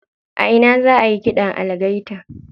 A ina za ayi ƙidan algaita?